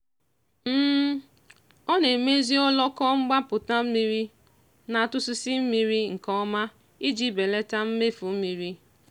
ọ na-emezi oloko mgbapụta mmiri na-atụsịsị mmiri nke ọma iji belata mmefu mmiri.